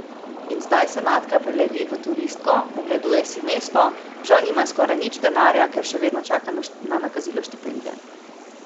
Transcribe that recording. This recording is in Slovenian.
In zdaj se Natka prelevi v turistko, ogleduje si mesto, žal nima skoraj nič denarja, ker še vedno čaka na nakazilo štipendije.